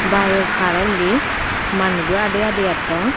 bayeg parolli manujo adi adi etton.